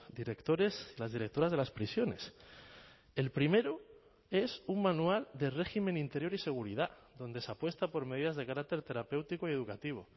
directores las directoras de las prisiones el primero es un manual de régimen interior y seguridad donde se apuesta por medidas de carácter terapéutico y educativo